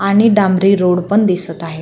आणि डांबरी रोड पण दिसत आहे.